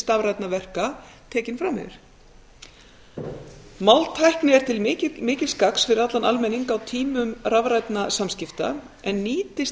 stafrænna verka tekin fram yfir máltækni er til mikils gagns fyrir allan almenning á tímum rafrænna samskipta en nýtist